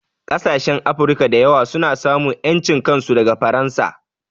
Ƙasashen Afirka da yawa sun samu ƴancin kansu daga Faransa